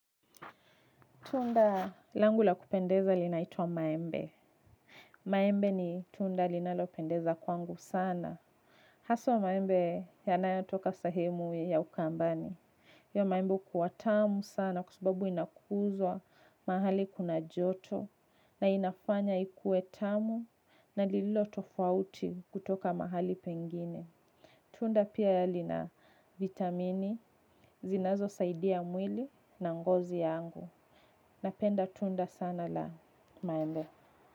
Tunda langu la kupendeza linaitwa maembe. Maembe ni tunda linalopendeza kwangu sana. Haswa maembe yanayatoka sehemu ya ukambani. Hio maembe hukuwa tamu sana kwa sababu inakuzwa mahali kuna joto. Na inafanya ikue tamu na lilotofauti kutoka mahali pengine. Tunda pia lina vitamini zinazo saidia mwili na ngozi yangu. Napenda tunda sana la maembe.